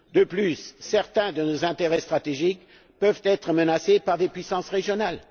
De plus, certains de nos intérêts stratégiques peuvent être menacés par des puissances régionales.